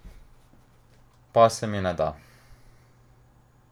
Pa se mi ne da.